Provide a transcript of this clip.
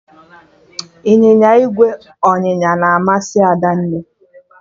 Ịnyịnya ígwè ọnyịnya na amasị Adanne